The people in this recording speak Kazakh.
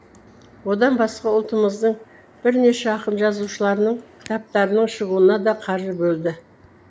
одан басқа ұлтымыздың бірнеше ақын жазушыларының кітаптарының шығуына да қаржы бөлді